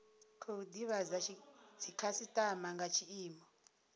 khou divhadza dzikhasitama nga tshiimo